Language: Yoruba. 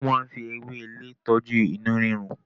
Wọ́n máa ń fi ewéle tọ́jú inú rírun.